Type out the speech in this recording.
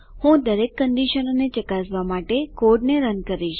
હું દરેક કંડીશનોને ચકાસવા માટે કોડને રન કરીશ